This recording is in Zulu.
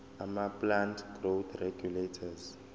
amaplant growth regulators